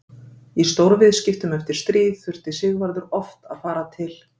Í stórviðskiptum eftir stríð þurfti Sigvarður oft að fara til